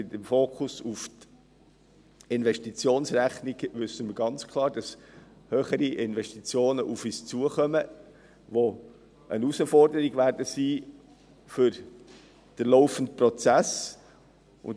Beim Fokus auf die Investitionsrechnung wissen wir ganz klar, dass höhere Investitionen auf uns zukommen, die eine Herausforderung für den laufenden Prozess sein werden.